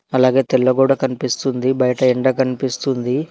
అలాగే తెల్ల గోడ కనిపిస్తుంది బైట ఎండ కనిపిస్తుంది.